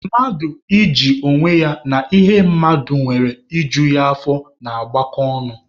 Mmadụ iji onwe ya na ihe mmadụ nwere i ju ya afọ na-agakọ ọnụ.